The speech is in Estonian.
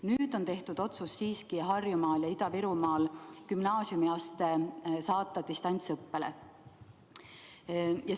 Nüüd on siiski tehtud otsus Harjumaal ja Ida-Virumaal gümnaasiumiaste distantsõppele saata.